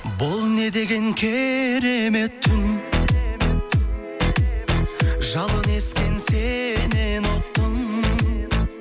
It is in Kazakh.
бұл не деген керемет түн жалын ескен сеннен ұқтым